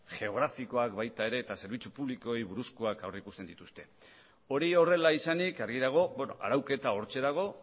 geografikoak baita ere eta zerbitzu publikoei buruzkoak aurrikusten dituzte hori horrela izanik argi dago arauketa hortxe dago